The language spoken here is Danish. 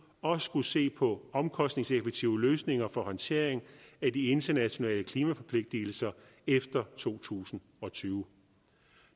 også skulle se på omkostningseffektive løsninger for håndtering af de internationale klimaforpligtigelser efter to tusind og tyve